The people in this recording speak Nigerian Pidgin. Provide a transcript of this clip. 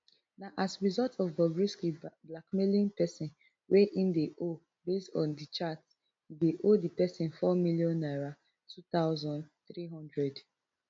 na as result of bobrisky blackmailing pesin wey im dey owe based on di chat e dey owe di pesin four million naira two thousand, three hundred